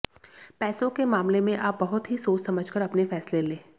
पैसों के मामले में आप बहुत ही सोच समझ कर अपने फैसले लें